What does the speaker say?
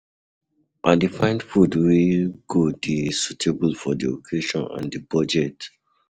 I dey find food wey go dey suitable for di occasion and di budget.